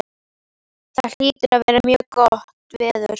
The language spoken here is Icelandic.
Það hlýtur að vera mjög gott veður.